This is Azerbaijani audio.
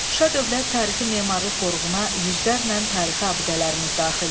Şuşa Dövlət Tarixi Memarlıq Qoruğuna yüzlərlə tarixi abidələrimiz daxildir.